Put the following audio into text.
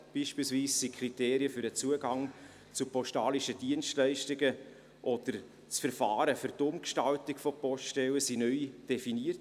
Beispielsweise wurden die Kriterien für den Zugang zu postalischen Dienstleistungen oder das Verfahren zur Umgestaltung von Poststellen neu definiert.